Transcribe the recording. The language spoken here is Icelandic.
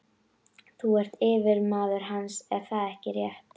Þú ert yfirmaður hans, er það ekki rétt?